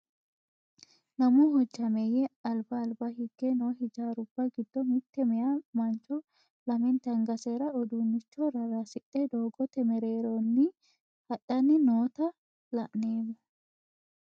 Lammu hojjameyye alibba alibba higge noo hiijjarrubba giddo mitte meyaa manicho lamennitte aniggaseni uddunicho rarasidhe doogote meereronni hadhani noota la'nnemo